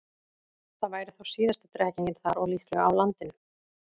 Það væri þá síðasta drekkingin þar og líklega á landinu.